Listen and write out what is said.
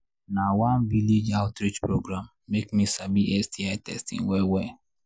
na one village outreach program make me sabi sti testing well well